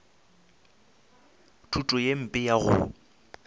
thuto ye mpe ya go